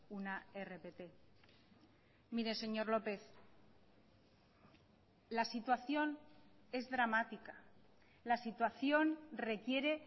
una rpt mire señor lópez la situación es dramática la situación requiere